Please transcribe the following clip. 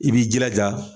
I b'i jilaja